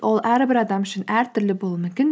ол әрбір адам үшін әртүрлі болуы мүмкін